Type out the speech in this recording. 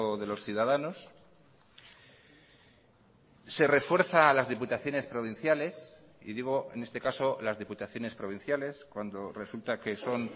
de los ciudadanos se refuerza a las diputaciones provinciales y digo en este caso las diputaciones provinciales cuando resulta que son